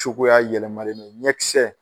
Cogoya yɛlɛmalen don ɲɛ kisɛ